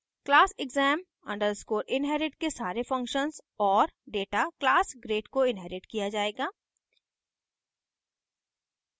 class exam _ inherit के सारे functions और data class grade को inherit किया जायेगा